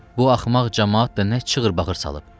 Bu axmaq camaat da nə çığır-bağır salıb.